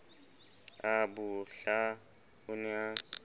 a bohla o ne a